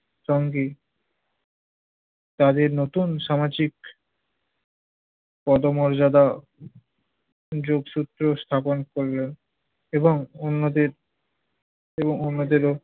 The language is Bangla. তঙ্গী তাদের নতুন সামাজিক পদমর্যাদা যোগসূত্র স্থাপন করল এবং অন্যদের~ ও অন্যদেরও